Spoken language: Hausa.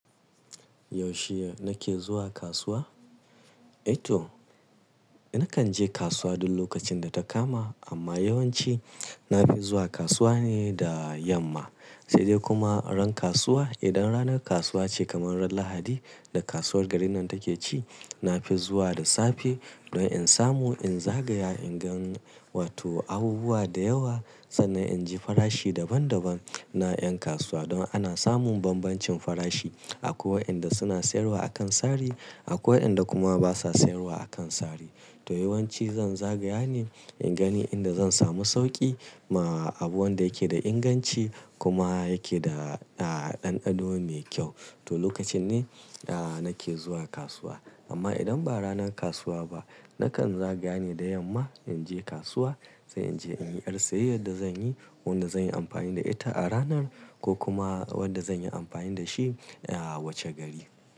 Yaushe nake zuwa kasuwa? Eto, nakan je kasuwa duk lokacin da ta kama. Amma yawanci na fi zuwa kasuwa ne da yamma. Sai dai kuma ran kasuwa, idan ranar kasuwa ce kamar ran Lahadi da kasuwar garin nan take ci, na fi zuwa da safe don in samu in zagaya, in ga wato abubuwa da yawa sannan in ji farashi daban daban na ƴan kasuwa. Don ana samun bambancin farashi. Akwai waƴanda suna sayarwa a kan sari, akwai waƴanda kuma basa sayarwa a kan sari. To yawanci zan zagaya ne in gani inda zan samu sauƙi ma abu wanda yake da inganci kuma yake da ɗanɗano mai kyau. To lokacin ne nake zuwa kasuwa. Amma idan ba ranar kasuwa ba, nakan zagaya ne da yamma in je kasuwa sai in je in yi a siyayyar da zan yi, wanda zan yi amfani da ita a ranan ko kuma wanda zan yi amfani da shi wace gari.